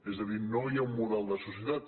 és a dir no hi ha un model de societat